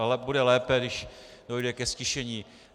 Ale bude lépe, když dojde ke ztišení.